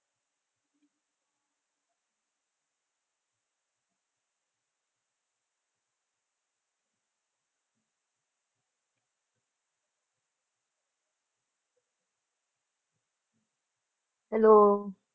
Hello